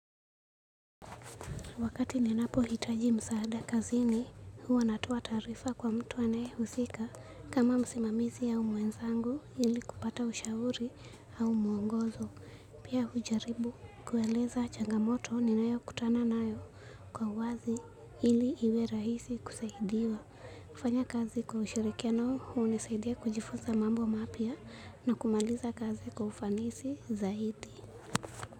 Wakati ninapo hitaji msaada kazini, huwa natoa taarifa kwa mtu anayehusika kama msimamizi au mwenzangu ili kupata ushauri au muongozo. Pia hujaribu kueleza changamoto ninayo kutana nayo kwa wazi ili iwe rahisi kusaidiwa. Kufanya kazi kwa ushirikiano, hunisaidia kujifuza mambo mapya na kumaliza kazi kwa ufanisi zaidi.